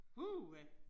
Uha